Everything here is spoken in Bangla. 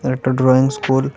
একটা ড্রয়িং স্কুল ।